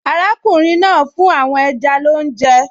Arákùnrin náà ń fún àwọn ẹja lóúnjẹ